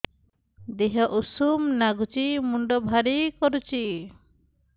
ଦିହ ଉଷୁମ ନାଗୁଚି ମୁଣ୍ଡ ଭାରି କରୁଚି